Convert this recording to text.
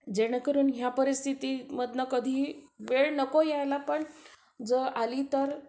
जेणेकरून ह्या परिस्थितीमधून कधी वेळ नको यायला पण जर कधी आली तर